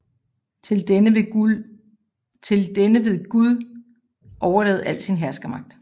Til denne vil Gud overlade al sin herskermagt